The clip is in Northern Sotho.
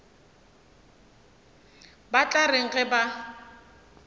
ba tla reng ge ba